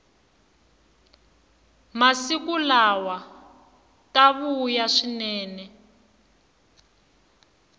masiku lawa ta vuya swinene